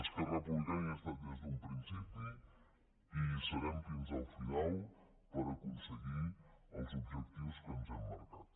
esquerra republicana hi ha estat des d’un principi i hi serem fins al final per aconseguir els objectius que ens hem marcat